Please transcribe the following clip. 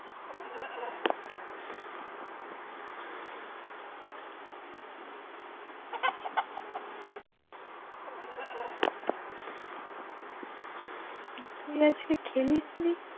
তুই আজকে খেলিসনিস